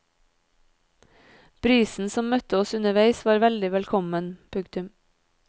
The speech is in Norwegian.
Brisen som møtte oss underveis var veldig velkommen. punktum